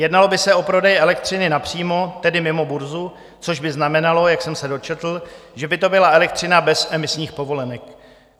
Jednalo by se o prodej elektřiny napřímo, tedy mimo burzu, což by znamenalo, jak jsem se dočetl, že by to byla elektřina bez emisních povolenek.